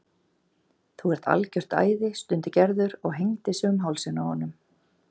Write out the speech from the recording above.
Þú ert algjört æði stundi Gerður og hengdi sig um hálsinn á honum.